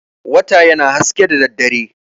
Wata yana haske da daddare.